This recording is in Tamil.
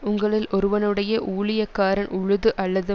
உங்களில் ஒருவனுடைய ஊழியக்காரன் உழுது அல்லது